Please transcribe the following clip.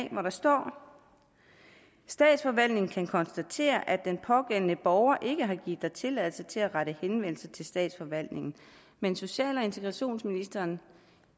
hvor der står statsforvaltningen kan konstatere at den pågældende borger ikke har givet dig tilladelse til at rette henvendelse til statsforvaltningen men social og integrationsministeren